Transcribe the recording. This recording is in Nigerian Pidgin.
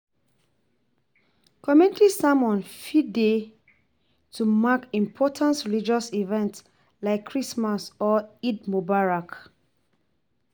Community sermon fit dey to mark important religious events like Christmas or Eid Mubarak